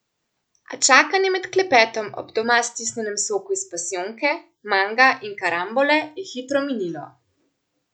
A čakanje med klepetom ob doma stisnjenem soku iz pasijonke, manga in karambole je hitro minilo.